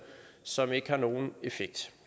som ikke har nogen effekt